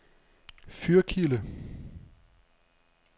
Fyrkilde